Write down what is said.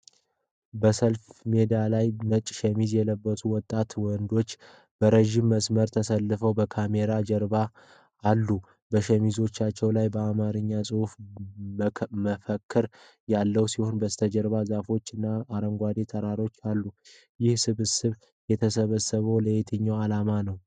በሰልፍ ሜዳ ላይ፣ ነጭ ሸሚዝ የለበሱ ወጣት ወንዶች በረዥም መስመር ተሰልፈው ከካሜራው ጀርባ አሉ። በሸሚዞቻቸው ላይ በአማርኛ የጽሑፍ መፈክሮች ያሉ ሲሆን፣ በስተጀርባ ዛፎች እና አረንጓዴ ተራራዎች አሉ። ይህ ስብስብ የተሰበሰበው ለየትኛው ዓላማ ነው?